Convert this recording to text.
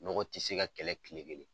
Nɔgɔ tɛ se ka kɛlɛ kile kelen.